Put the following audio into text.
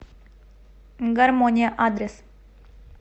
гармония адрес